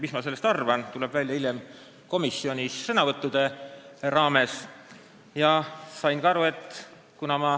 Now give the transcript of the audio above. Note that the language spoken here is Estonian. Mis ma sellest arvan, tuleb välja hiljem, kui ma komisjonis sõna võtmisi tutvustan.